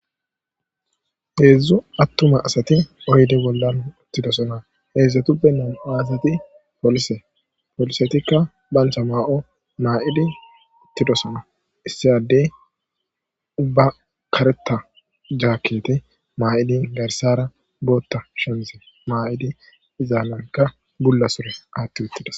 heedzdzu attuma asati oydi bollan uttidosona heedzdzatuppennan asati polise polisetikka bantha maa7o maa7idi uttidosona issiyadey ubba kareta jaakete maa7idi garsara bootta shemize maa7idi izaamanka bulla sure aatti uttidas